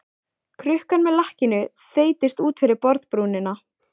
Krukkan með lakkinu þeytist út fyrir borðbrúnina.